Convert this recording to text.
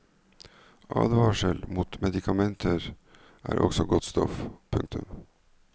Advarsel mot medikamenter er også godt stoff. punktum